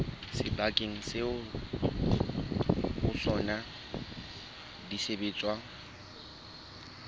sebakeng seo ho sona disebediswa